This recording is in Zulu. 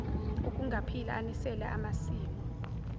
okungaphila anisela amasimu